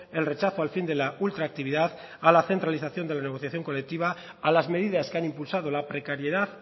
el rechazo al fin de la ultraactividad a la centralización de la negociación colectiva a las medidas que han impulsado la precariedad